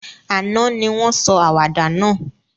Àná ni won sọ àwàdà náà